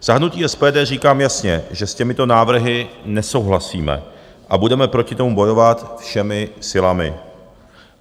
Za hnutí SPD říkám jasně, že s těmito návrhy nesouhlasíme a budeme proti tomu bojovat všemi silami.